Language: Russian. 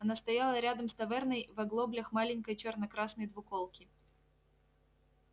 она стояла рядом с таверной в оглоблях маленькой чёрно-красной двуколки